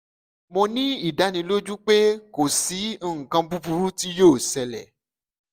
mo ni idaniloju pe ko si nkan buburu ti yoo ṣẹlẹ